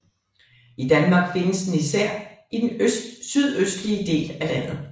I Danmark findes den især i den sydøstlige del af landet